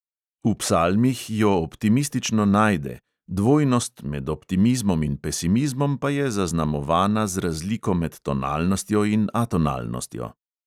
V psalmih jo optimistično najde, dvojnost med optimizmom in pesimizmom pa je zaznamovana z razliko med tonalnostjo in atonalnostjo.